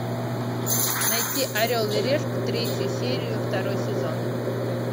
найти орел и решка третью серию второй сезон